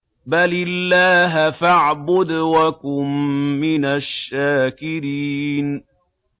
بَلِ اللَّهَ فَاعْبُدْ وَكُن مِّنَ الشَّاكِرِينَ